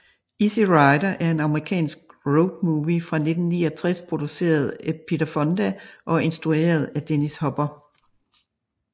Easy Rider er en amerikansk road movie fra 1969 produceret af Peter Fonda og instrueret af Dennis Hopper